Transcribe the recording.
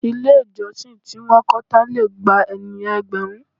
Ilé ìjọsìn tí wọn kọ́ tán lè gba ènìyàn ẹgbẹ̀rún.